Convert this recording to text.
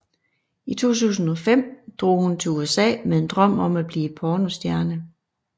I 2005 drog hun til USA med en drøm om at blive pornostjerne